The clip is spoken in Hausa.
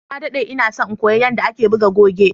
na daɗe inason in koya yadda ake buga goge